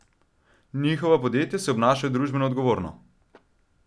Njihova podjetja se obnašajo družbeno odgovorno.